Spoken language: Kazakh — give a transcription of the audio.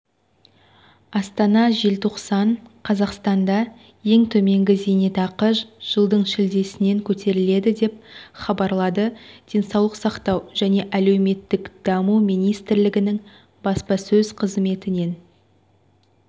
астана желтоқсан қазақстанда ең төменгі зейнетақы жылдың шілдесінде көтеріледі деп хабарлады денсаулық сақтау және әлеуметтік даму министрлігінің баспасөз қызметінен